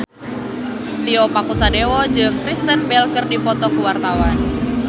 Tio Pakusadewo jeung Kristen Bell keur dipoto ku wartawan